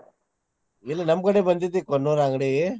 ಇಲ್ಲೆ ನಮ್ಮ್ ಕಡೆ ಬಂದೇತಿ ಕೊಣ್ಣೂರ್ ಅಂಗ್ಡಿ.